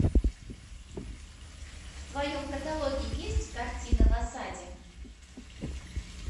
в твоем каталоге есть картина в осаде